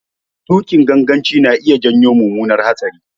Tuƙin ganganci na iya janyo mummunar hatsari.